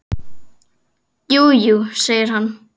Jú, jú, segir hann.